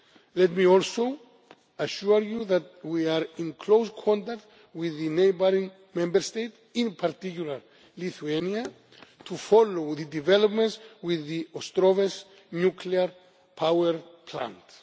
Let me also assure you that we are in close contact with the neighbouring Member States, in particular Lithuania, to follow the developments with the Ostrovets nuclear power plant.